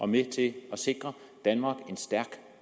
med til at sikre danmark en stærk